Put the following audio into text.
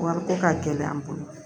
Wariko ka gɛlɛ an bolo